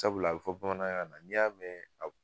Sabula a bɛ fɔ bamanankan na n'i y'a mɛn a